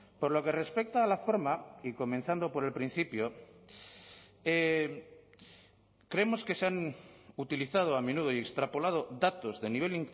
por lo que respecta a la forma y comenzando por el principio creemos que se han utilizado a menudo y extrapolado datos de nivel